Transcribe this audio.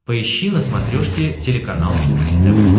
поищи на смотрешке телеканал кухня тв